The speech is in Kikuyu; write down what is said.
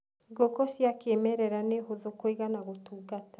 Ngũkũ cia kĩmerera nĩ hũthũ kũiga na gũtungata.